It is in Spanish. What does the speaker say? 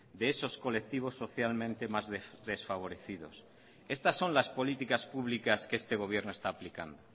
de esos colectivos socialmente más desfavorecidos estas son las políticas públicas que este gobierno está aplicando